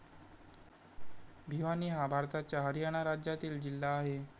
भिवानी हा भारताच्या हरियाणा राज्यातील जिल्हा आहे.